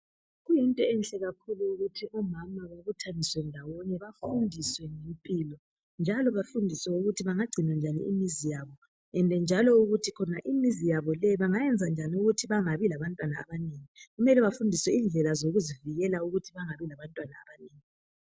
Kuyinto enhle kakhulu ukuthi omama babuthaniswe ndawonye bafundiswe ngempilo njalo bafundiswe ukuthi bengagcina njani imizini yabo ende njalo ukuthi imizi yabo le bengayenza njani ukuthi bangabi labantwana abanengi. Mele bafundiswe indlela zokuzivikela ukuthi bangabi labantwana abanengi.